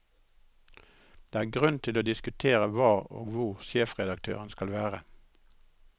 Det er grunn til å diskutere hva og hvor sjefredaktørene skal være.